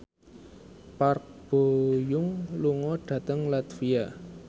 Park Bo Yung lunga dhateng latvia